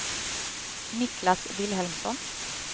Niclas Vilhelmsson